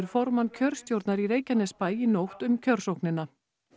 formann kjörstjórnar í Reykjanesbæ í nótt um kjörsóknina